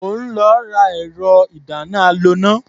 Mò ń lọ ra ẹ̀rọ-ìdáná-aloná.